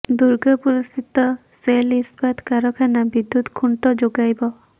ଦୁର୍ଗାପୁର ସ୍ଥିତ ସେଲ୍ ଇସ୍ପାତ କାରଖାନା ବିଦ୍ୟୁତ୍ ଖୁଣ୍ଟ ଯୋଗାଇବ